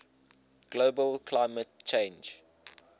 global climate change